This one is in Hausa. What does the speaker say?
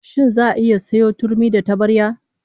Shin za'a iya sayo turmi da tabarya?